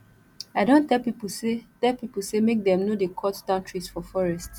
i don tell pipo sey tell pipo sey make dem no dey cut down trees for forest